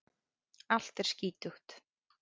Allt er skítugt.